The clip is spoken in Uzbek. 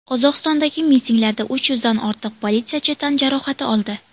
Qozog‘istondagi mitinglarda uch yuzdan ortiq politsiyachi tan jarohati oldi.